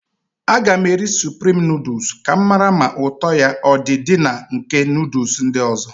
Aga m eri suprim nọọdus ka m mara ma ụtọ ya ọdị dị na nke nọọdus ndị ọzọ.